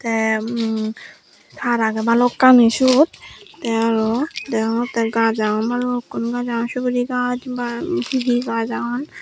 te umm taar agey balokkani siyot te aro degongotte gaj agon balukkun gaj suguri gaj ba he he gaj agon.